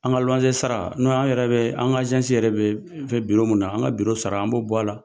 An ka luwansesara n'o an yɛrɛ bɛ an ka yɛrɛ bɛ fɛ biro min na an ka biro sara an b'o bɔ a la